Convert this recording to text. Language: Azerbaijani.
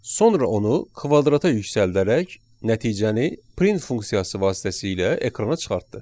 Sonra onu kvadrata yüksəldərək nəticəni print funksiyası vasitəsilə ekrana çıxartdı.